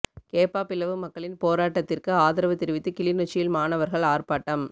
கேப்பாபிலவு மக்களின் போராட்டத்திற்கு ஆதரவு தெரிவித்து கிளிநொச்சியில் மாணவர்கள் ஆர்ப்பாட்டம்